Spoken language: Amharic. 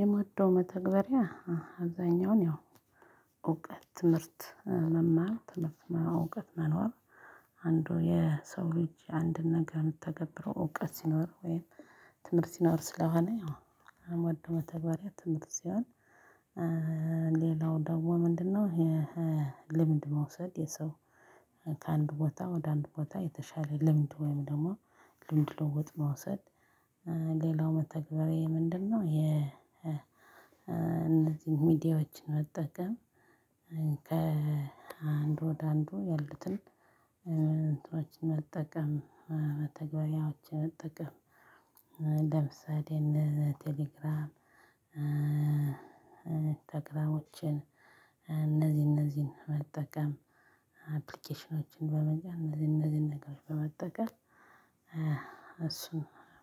የማዶ መተግበሪያ አብዛኛውን ያው እውቀት ትምህርት መማር ትምህርት ማወቅ መኖር። አንዱ የሰው ልጅ አንድን ነገር የሚተገብረው እውቀት ሲኖር ወይም ትምህርት ሲኖር ስለሆነ አሁን አምወደው መተጋብሪያ ትምህርት ሲሆን። ሌላው ደግሞ ምንድነው? ልምድ መውሰድ የሰው ከአንድ ቦታ ወደ አንድ ቦታ የተሻለ ልምድ ወይም ደግሞ ልምድ ለውውጥ መውሰድ። ሌላው መተግበሪያዬ ምንድነው? የ እንደዚህ ሚዲያዎችን መጠቀም። ከአንድ ወደ አንድ ማለትም እንትኖችን መጠቀም መተግባራዎች መጠቀም። ለምሳሌ እነ ቴሌግራም። ተግራሞችን እነዚህ እነዚህን መጠቀም አፕሊኬሽኖችን በመጠቀም እነዚህ እነዚህን ነገሮች በመጠቀም። እሱን